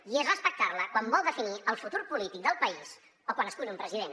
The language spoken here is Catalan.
i és respectar la quan vol definir el futur polític del país o quan escull un president